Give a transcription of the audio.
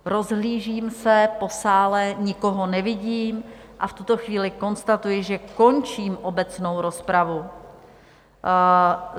Rozhlížím se po sále, nikoho nevidím, a v tuto chvíli konstatuji, že končím obecnou rozpravu.